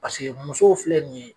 Paseke musow filɛ nin ye